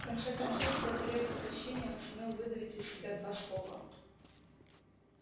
в конце концов преодолев отвращение он сумел выдавить из себя два слова